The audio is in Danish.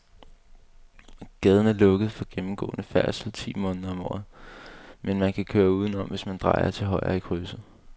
Gaden er lukket for gennemgående færdsel ti måneder om året, men man kan køre udenom, hvis man drejer til højre i krydset.